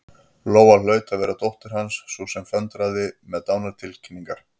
Lóa hlaut að vera dóttir Hans, sú sem föndraði með dánartilkynningar.